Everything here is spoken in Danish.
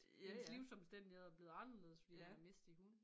Ens livsomstændigheder er bleven anderledes fordi du har mistet din hund